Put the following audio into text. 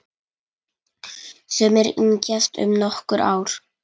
Sumir yngjast um nokkur ár.